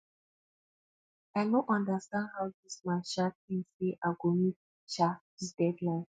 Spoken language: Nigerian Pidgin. i no understand how dis man um think say i go meet um dis deadline